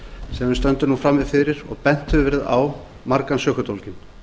sem við stöndum nú frammi fyrir og bent hefur verið á margan sökudólginn